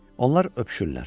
Onlar öpüşürlər.